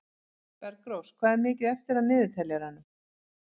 Bergrós, hvað er mikið eftir af niðurteljaranum?